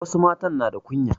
Wasu matan na da kunya.